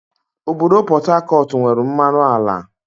Obodo Pọt Hakọt nwere mmanụ ala